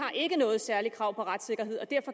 noget særligt krav på retssikkerhed og